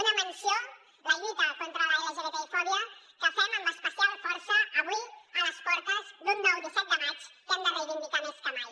una menció la lluita contra l’lgtbifòbia que fem amb especial força avui a les portes d’un nou disset de maig que hem de reivindicar més que mai